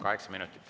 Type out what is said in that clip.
Kaheksa minutit.